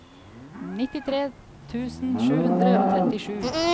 nittitre tusen sju hundre og trettisju